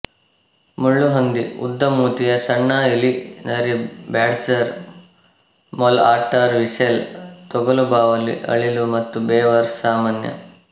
ಮುಳ್ಳುಹಂದಿ ಉದ್ದಮೂತಿಯ ಸಣ್ಣ ಇಲಿ ನರಿ ಬ್ಯಾಡ್ಜರ್ ಮೊಲ ಆಟ್ಟರ್ ವೀಸೆಲ್ ತೊಗಲುಬಾವಲಿ ಅಳಿಲು ಮತ್ತು ಬೇವರ್ ಸಾಮಾನ್ಯ